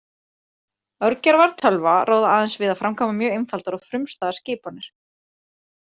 Örgjörvar tölva ráða aðeins við að framkvæma mjög einfaldar og frumstæðar skipanir.